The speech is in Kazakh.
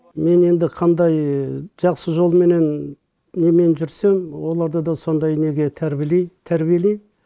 мен енді қандай жақсы жолменен немен жүрсем оларды да сондай неге тәрбиелей тәрбиелеймін